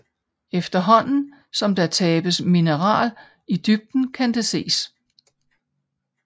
Efterhånden som der tabes mineral i dybden kan det ses